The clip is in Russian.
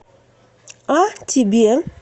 а тебе